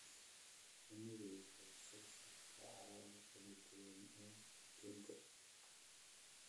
Shinnidu waxay soo saartaa alaabo kala duwan oo aduunka ah